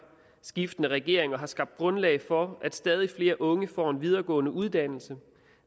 skiftende regeringer har skabt grundlag for at stadig flere unge får en videregående uddannelse